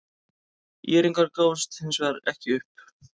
ÍR-ingar gáfust hins vegar ekki upp.